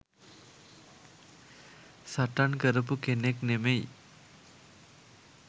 සටන් කරපු කෙනෙක් නෙමෙයි.